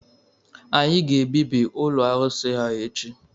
Anyị ga-ebibi ụlọ arụsị a echi!